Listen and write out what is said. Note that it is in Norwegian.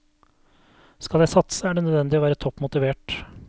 Skal jeg satse, er det nødvendig å være topp motivert.